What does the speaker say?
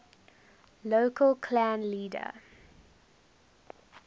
local clan leader